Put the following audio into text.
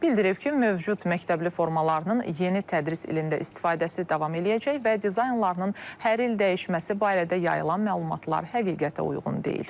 Bildirib ki, mövcud məktəbli formalarının yeni tədris ilində istifadəsi davam eləyəcək və dizaynlarının hər il dəyişməsi barədə yayılan məlumatlar həqiqətə uyğun deyil.